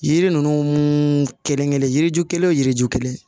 Yiri ninnu kelen kelen yiri ju kelen o yiriju kelen